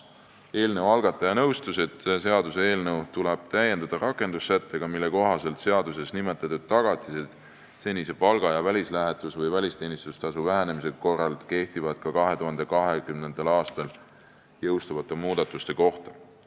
Eelnõu algataja nõustus, et seaduseelnõu tuleb täiendada rakendussättega, mille kohaselt seaduses nimetatud tagatised senise palga ja välislähetus- või välisteenistustasu vähenemise korral kehtivad ka 2020. aastal jõustuvate muudatuste kohta.